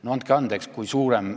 No andke andeks!